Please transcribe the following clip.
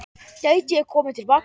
Gæti ég komið til baka?